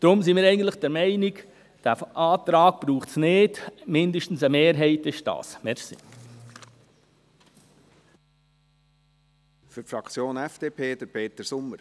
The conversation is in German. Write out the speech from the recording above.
Deswegen sind wir eigentlich der Meinung, dass es diesen Antrag nicht braucht, zumindest eine Mehrheit findet dies.